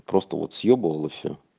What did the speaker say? просто вот съёбывал и всё